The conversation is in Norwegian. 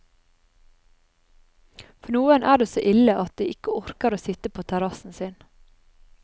For noen er det så ille at de ikke orker å sitte på terrassen sin.